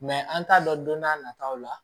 an t'a dɔn don n'a nataw la